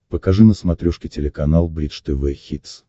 покажи на смотрешке телеканал бридж тв хитс